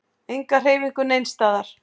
Enga hreyfingu neins staðar.